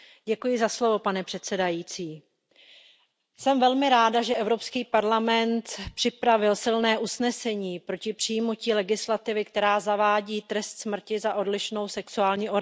Pane předsedající, jsem velmi ráda, že Evropský parlament připravil silné usnesení proti přijetí legislativy, která zavádí trest smrti za odlišnou sexuální orientaci.